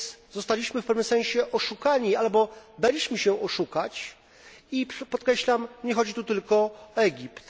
Zostaliśmy więc w pewnym sensie oszukani, albo daliśmy się oszukać, i podkreślam nie chodzi tu tylko o Egipt.